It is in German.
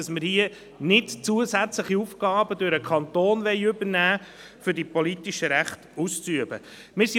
Wir wollen nicht, dass zusätzliche Aufgaben durch den Kanton übernommen werden, damit die politischen Rechte ausgeübt werden können.